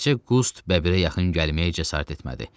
Təkcə Qust bəbirə yaxın gəlməyə cəsarət etmədi.